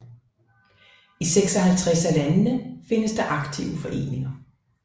I 56 af landene findes der aktive foreninger